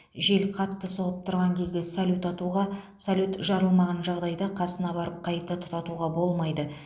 жел қатты соғып тұрған кезде салют атуға салют жарылмған жағдайда қасына барып қайта тұтатуға болмайды